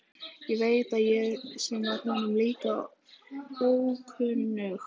Hvað veit ég sem var honum líka ókunnug.